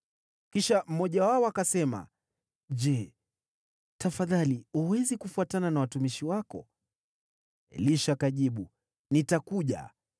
Kisha mmoja wao akasema, “Je, tafadhali, huwezi kufuatana na watumishi wako?” Elisha akajibu, “Nitakuja.”